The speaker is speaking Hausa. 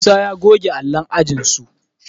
Musa ya goge allon ajinsu